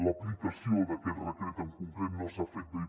l’aplicació d’aquest decret en concret no s’ha fet bé